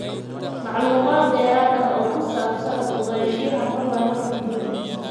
Macluumaad dheeraad ah oo ku saabsan ogaanshaha osteochondritis dissecans, fadlan halkan guji.